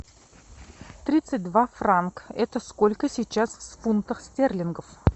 тридцать два франк это сколько сейчас в фунтах стерлингов